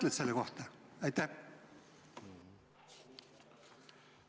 Mis sa selle kohta ütled?